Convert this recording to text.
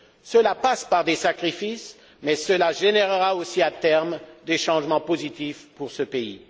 Cela passe par des sacrifices, mais cela générera à terme des changements positifs pour ce pays.